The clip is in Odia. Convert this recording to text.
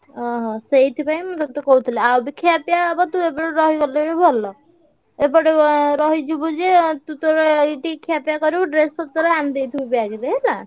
ହଁ ସେଇଥିପାଇଁ ମୁଁ ତତେ କହୁଥିଲି ଆଉ ବି ଖିଆପିଆ ହବ ତୁ ଏପଟେ ରହିଗଲେ ବି ଭଲ। ଏପଟେ ଏଁ ରହିଯିବୁ ଯେ ତୁ ତୋର ଏଇଠି ଖିଆପିଆ କରିବୁ dress ପତ୍ର ଆଣିଦେଇଥିବୁ bag ରେ ହେଲା।